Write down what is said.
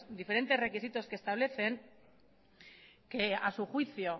diferentes requisitos que establecen que a su juicio